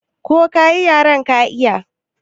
Ka koyi yaren ka iya?